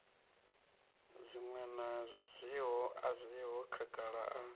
zwiṅwe a zwiho khagala a